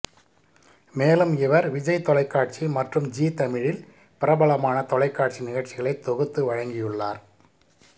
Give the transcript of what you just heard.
மேலும் இவர் விஜய் தொலைக்காட்சி மற்றும் ஜீ தமிழில் பிரபலமான தொலைக்காட்சி நிகழ்ச்சிகளை தொகுத்து வழங்கியுள்ளார்